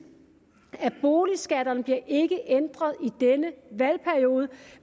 at boligskatterne ikke bliver ændret i denne valgperiode